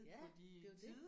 Ja det er jo det